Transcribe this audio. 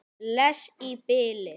Bless í bili.